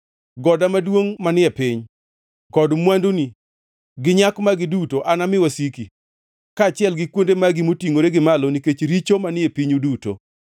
Goda maduongʼ manie piny kod mwanduni gi nyak magi duto anami wasiki, kaachiel gi kuonde magi motingʼore gi malo, nikech richo manie pinyu duto.